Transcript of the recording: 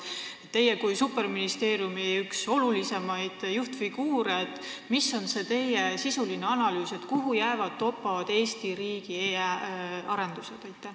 Milline on teie kui superministeeriumi ühe olulisema juhtfiguuri sisuline analüüs, kuhu jäävad toppama Eesti riigi e-arendused?